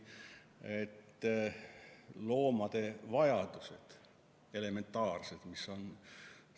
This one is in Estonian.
Loomade elementaarsed vajadused on erinevad.